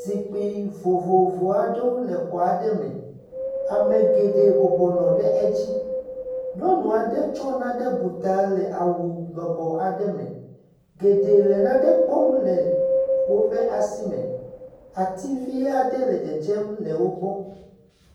Zikpui vovovo aɖewo le xɔ aɖe me. Ame geɖe bɔbɔnɔ ɖe edzi. Nyɔnu aɖe tsɔ nane bu ta le awu lɔbɔ aɖe me. Geɖe le nane kpɔm le wobe asi me. Ati vi aɖe le dzedzem le wogbɔ.